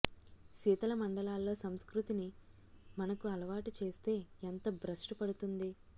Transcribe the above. శీతల మండలాల్లో సంస్కృతిని మనకు అలవాటు చేస్తే ఎంత భ్రష్టు పడుతుంది